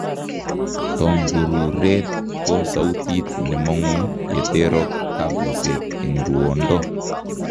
Tongururet ko soutit nemongu yeterok kabuset eng' ruondo